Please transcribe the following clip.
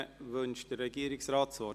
Wünscht der Regierungsrat das Wort?